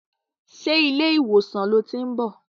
Ṣé ilé ìwòsàn lo tiń bọ̀?